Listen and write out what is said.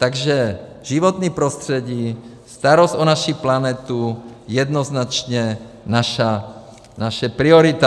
Takže životní prostředí, starost o naší planetu, jednoznačně naše priorita.